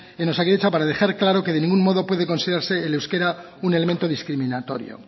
en osakidetza para dejar claro que de ningún modo puede considerarse el euskera un elemento discriminatorio